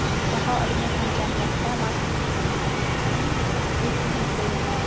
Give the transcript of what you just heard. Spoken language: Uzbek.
Jahon ilmiy hamjamiyatida mazkur Institutning reytingda juda yuqori.